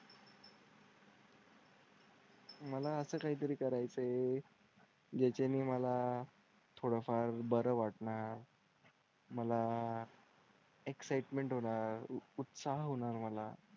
मला असं काहीतरी करायचं आहे ज्याच्याने मला थोडा फार बरं वाटणार मला एक्साइटमेन्ट होणार उत्साह होणार मला.